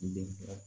N denkɛ